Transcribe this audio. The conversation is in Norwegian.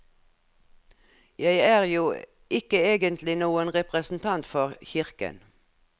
Jeg er jo ikke egentlig noen representant for kirken.